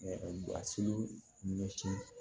siri ɲɛsin